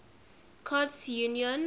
courts union icu